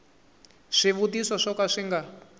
swivutiso swo ka swi nga